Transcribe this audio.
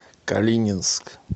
калининск